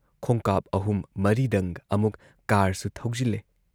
ꯈꯣꯡꯀꯥꯞ ꯑꯍꯨꯝ ꯃꯔꯤꯗꯪ ꯑꯃꯨꯛ ꯀꯥꯔꯁꯨ ꯊꯧꯖꯤꯜꯂꯦ ꯫